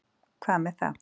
Hvað með það?